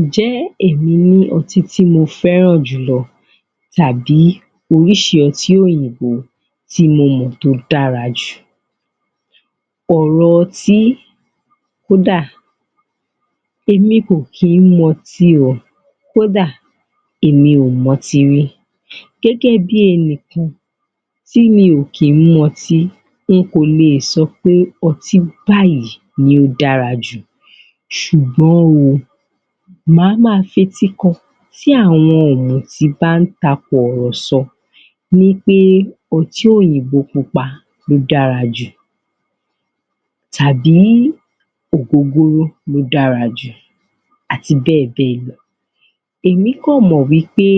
Ǹjẹ́ èmí ní ọtí tí mo fẹ́ràn jù lọ tàbí oríṣi ọtí òyìnbó tí mo mọ̀ tó dára jù ọ̀rọ̀ ọtí, kódà, èmi kò kí ń mu ọtí o Kó dà, èmi ò mu ọtí rí gẹ́gẹ́ bí ẹnìkan tí mi ò kí ń mu ọtí n kò lè sọ pé ọtí báyìí ló dára jù ṣùgbọ́n o, màá ma fetí kọ tí àwọn ọ̀mùtí bá ń takọ̀rọ̀sọ wí pé ọtí òyìnbó pupa ló dára jù tàbí ògógóró ló dára jù àti bẹ́ẹ̀ bẹ́ẹ̀ lọ èmi kàn mọ̀ wí pé